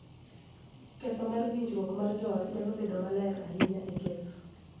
Ketho mar winjruok mar joot nyalo bedo maler ahinya e kes .